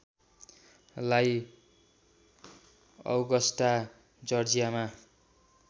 लाई औगस्टा जर्जियामा